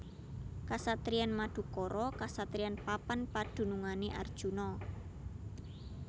Kasatriyan Madukara kasatriyan papan padunungané Arjuna